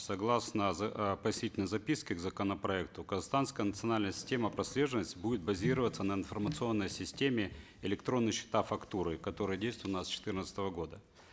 согласно э пояснительной записки к законопроекту казахстанская национальная система прослеживаемости будет базироваться на информационной системе электронные счета фактуры которые действуют у нас с четырнадцатого года